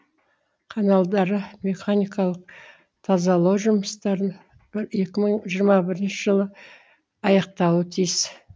каналдары механикалық тазалау жұмыстарын бір екі мың жиырма бірінші жылы аяқтауы тиіс